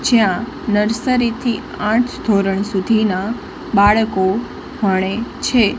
જ્યાં નર્સરી થી આંઠ ધોરણ સુધીના બાળકો ભણે છે.